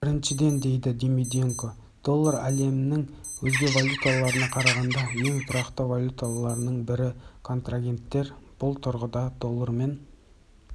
біріншіден дейді димиденко доллар әлемнің өзге валюталарына қарағанда ең тұрақты валюталардың бірі контрагенттер бұл тұрғыда доллармен